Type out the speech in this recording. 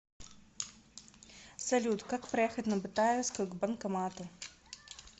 салют как проехать на бытаевскую к банкомату